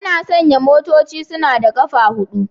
Ana sanya motoci suna da ƙafa huɗu